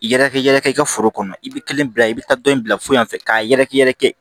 I yɛrɛ kɛ yɛrɛ i ka foro kɔnɔ i bɛ kelen bila i bɛ taa dɔ in bila fo yan fɛ k'a yɛrɛkɛ yɛrɛ kɛ